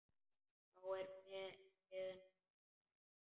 Þá er mið nótt hér.